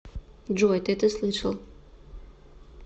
джой ты это слышал